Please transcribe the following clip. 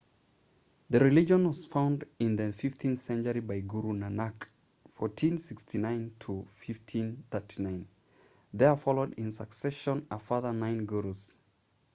the religion was founded in the 15th century by guru nanak 1469–1539. there followed in succession a further nine gurus